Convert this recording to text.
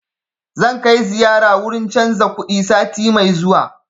Zan kai ziyara wurin canza kuɗi sati mai zuwa